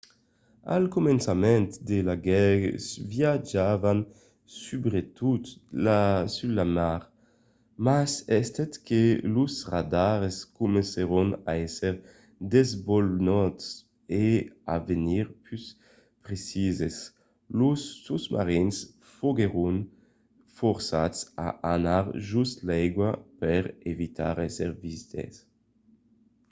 al començament de la guèrra viatjavan subretot sus la mar mas estent que los radars comencèron a èsser desvolopats e a venir pus precises los sosmarins foguèron forçats a anar jos l’aiga per evitar d’èsser vistes